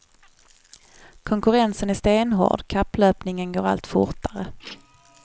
Konkurrensen är stenhård, kapplöpningen går allt fortare.